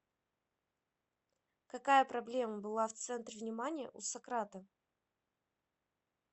какая проблема была в центре внимания у сократа